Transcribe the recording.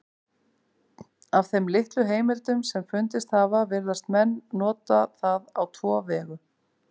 Af þeim litlu heimildum sem fundist hafa virðast menn nota það á tvo vegu.